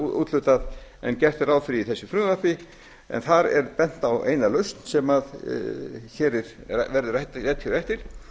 úthlutað en gert er ráð fyrir í þessu frumvarpi en þar er bent á eina lausn sem verður rædd á eftir